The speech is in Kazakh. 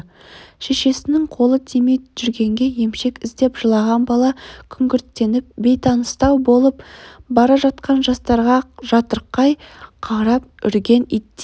шешесінің қолы тимей жүргенде емшек іздеп жылаған бала күңгірттеніп бейтаныстау болып бара жатқан жастарға жатырқай қарап үрген иттер